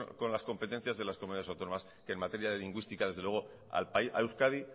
con las competencias de las comunidades autónomas que en materia lingüística desde luego a euskadi